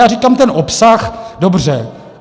Já říkám ten obsah, dobře.